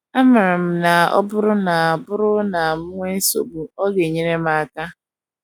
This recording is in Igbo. Amaara m na ọ bụrụ na bụrụ na m enwee nsogbu, ọ ga - enyere m aka. ”